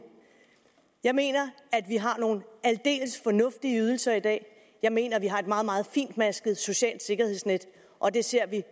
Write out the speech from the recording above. jeg mener at vi har nogle aldeles fornuftige ydelser i dag jeg mener at vi har et meget meget finmasket socialt sikkerhedsnet og det ser vi